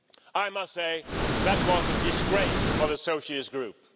I must say that was a disgrace for the Socialist Group.